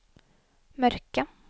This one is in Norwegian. mørke